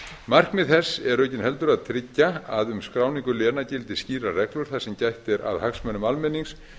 markmið þess eru aukinheldur að tryggja að um skráningu léna gildi skýrar reglur þar sem gætt er að hagsmunum almennings